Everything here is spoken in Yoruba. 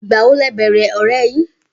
Igbawo lẹ bẹẹrẹ ọrẹ yin?